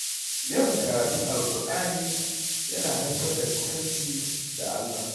Yawan karatun Alqur’ani ya na haifar da kusanci da Allah.